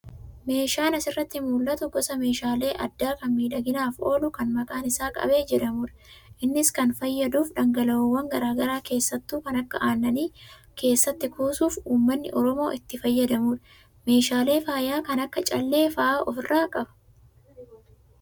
Meeshaan asirraa mul'atuu gosa meeshaalee aadaa kan miidhaginaaf oolu kan maqaan isaa qabee jedhamudha. Innis kan fayyaaduuf dhangala'oowwan garagaraa keessattuu kan akka aannanii keessatti kuusuuf uummannii oromoo itti fayyadaamudha. Meeshaalee faayaa kan akka callee fa'aa ofirraa qaba.